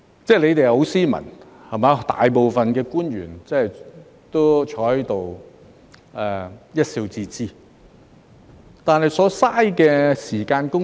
政府官員很斯文，大多坐在這裏一笑置之，但是，所浪費的時間、公帑......